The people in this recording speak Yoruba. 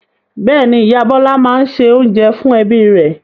Bẹ́ẹ̀ ni, ìyá Bọ́lá máa ń se oúnjẹ fún ẹbí rẹ̀.